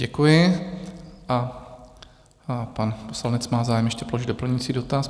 Děkuji a pan poslanec má zájem ještě položit doplňující dotaz.